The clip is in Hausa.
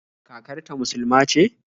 Kakar ta musuluma ce?